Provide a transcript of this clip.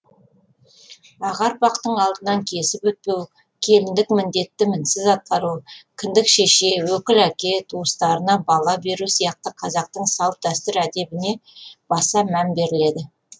аға ұрпақтың алдынан кесіп өтпеу келіндік міндетті мінсіз атқару кіндік шеше өкіл әке туыстарына бала беру сияқты қазақтың салт дәстүр әдебіне баса мән беріледі